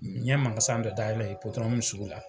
N ye mankasan dɔ dayɛlɛ Ipodɔrɔmu sugu la.